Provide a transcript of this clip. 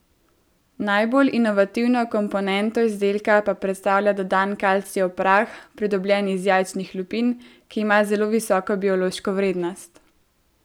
Najbolj inovativno komponento izdelka pa predstavlja dodan kalcijev prah, pridobljen iz jajčnih lupin, ki ima zelo visoko biološko vrednost.